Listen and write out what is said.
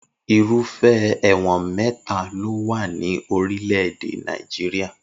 Irúfẹ́ ẹ̀wọ̀n mẹ́ta ló wà ní orílẹ̀-èdè Nàìjíríà